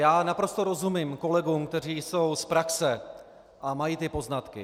Já naprosto rozumím kolegům, kteří jsou z praxe a mají ty poznatky.